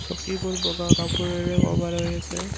চকীবোৰ বগা কাপোৰেৰে ক'ভাৰ হৈ আছে।